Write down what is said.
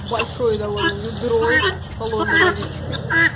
большой довольно ведро с холодной водичкой